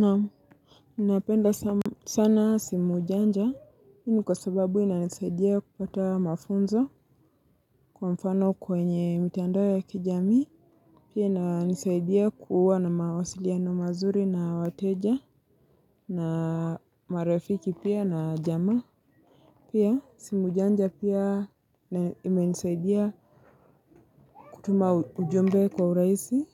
Naam, ninapenda sana simu janja. Hini kwa sababu inanisaidia kupata mafunzo kwa mfano kwenye mitiandao ya kijamii. Pia inanisaidia kuwa na mawasiliano mazuri na wateja na marifiki pia na jamaa. Pia, simu janja pia imenisaidia kutuma ujumbe kwa uraisi